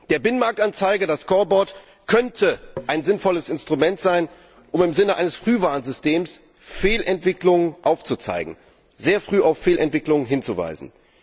Der Binnenmarktanzeiger, das scoreboard könnte ein sinnvolles Instrument sein, um im Sinne eines Frühwarnsystems Fehlentwicklungen aufzuzeigen, sehr früh auf Fehlentwicklungen hinzuweisen.